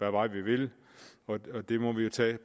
vej vi vil det må vi tage